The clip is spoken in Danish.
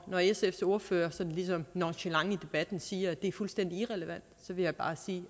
når sfs ordfører sådan ligesom nonchelant i debatten siger at det er fuldstændig irrelevant vil jeg bare sige